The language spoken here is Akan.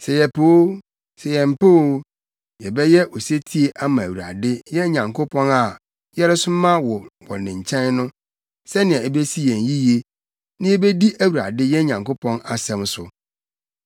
Sɛ yɛpɛ o, sɛ yɛmpɛ o, yɛbɛyɛ osetie ama Awurade, yɛn Nyankopɔn a yɛresoma wo wɔ ne nkyɛn no, sɛnea ebesi yɛn yiye, na yebedi Awurade, yɛn Nyankopɔn asɛm so.”